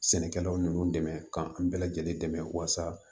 Sɛnɛkɛlawl ninnu dɛmɛ k'an bɛɛ lajɛlen dɛmɛ walasa